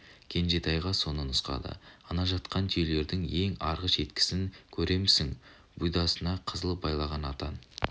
кенжетайға соны нұсқады ана жатқан түйелердің ең арғы шеткісін көремісің бұйдасына қызыл байлаған атан